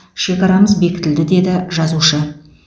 шекарамыз бекітілді деді жазушы